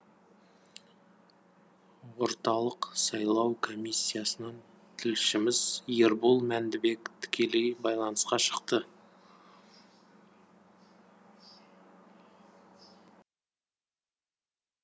орталық сайлау комиссиясынан тілшіміз ербол мәндібек тікелей байланысқа шықты